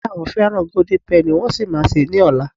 ìyá mi ni pe àwọn fẹràn golden penny, wan sí ma se ni ola